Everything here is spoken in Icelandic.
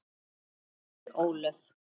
Unnur Ólöf.